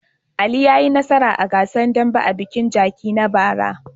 Ali ya yi nasara a gasar dambe a bikin Jaci na bara.